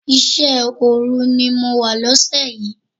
Iṣẹ́ òru ni mo wà lóṣẹ̀ yìí.